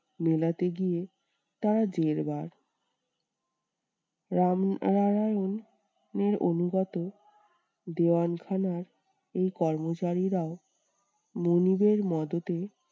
মেলাতে গিয়ে তারা জেরবার। রামনারায়ণের অনুগত দেওয়ান খানার এই কর্মচারীরা মুনিবের মদতে